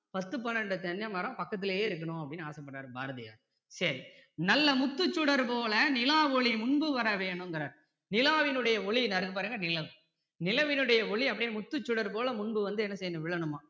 பத்து பன்னிரண்டு தென்னை மரம் பக்கத்திலயே இருக்கணும்னு அப்படின்னு ஆசை பட்டாரு பாரதியார் சரி நல்ல முத்துச் சுடர்போல நிலாவொளி முன்பு வர வேணுங்கறாரு நிலாவினுடைய ஒளி இங்க இருக்கு பாருங்க நிலம் நிலவினுடைய ஒளி அப்படியே முத்துச் சுடர்போல முன்பு வந்து என்ன செய்யணும் விழணுமா